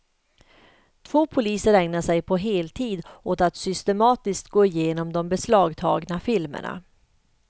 Två poliser ägnar sig på heltid åt att systematiskt gå igenom de beslagtagna filmerna.